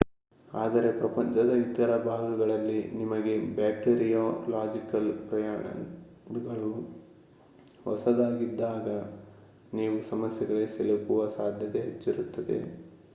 ಆದರೆ ಪ್ರಪಂಚದ ಇತರ ಭಾಗಗಳಲ್ಲಿ ನಿಮಗೆ ಬ್ಯಾಕ್ಟೀರಿಯೊಲಾಜಿಕಲ್ ಪ್ರಾಣಿಗಳು ಹೊಸದಾಗಿದ್ದಾಗ ನೀವು ಸಮಸ್ಯೆಗಳಿಗೆ ಸಿಲುಕುವ ಸಾಧ್ಯತೆ ಹೆಚ್ಚಿರುತ್ತದೆ